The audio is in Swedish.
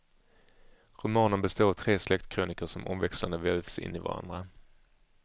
Romanen består av tre släktkrönikor som omväxlande vävs in i varann.